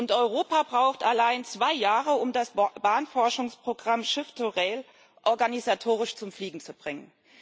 Und Europa braucht allein zwei Jahre, um das Bahnforschungsprogramm Shift to Rail organisatorisch zum Fliegen zu bringen.